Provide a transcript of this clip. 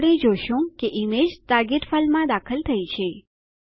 આપણે જોશું કે ઈમેજ ટાર્ગેટ ફાઈલમાં દાખલ થઇ ગયી છે